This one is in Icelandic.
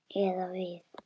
Eða við.